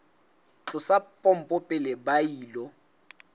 tlosa pompo pele ba ilo